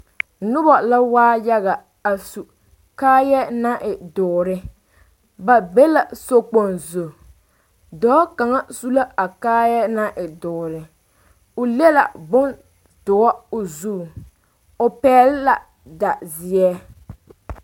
Nobɔ la waa yaga a su kaayɛɛ naŋ e dɔɔre ba be la sokpoŋ zu dɔɔ kaŋa su la a kaayɛɛ naŋ e dɔɔre o le la bondoɔ o zu o pɛgle la dazeɛ